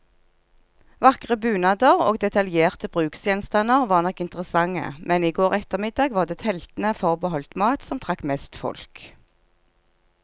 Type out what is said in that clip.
Vakre bunader og detaljerte bruksgjenstander var nok interessante, men i går ettermiddag var det teltene forbeholdt mat, som trakk mest folk.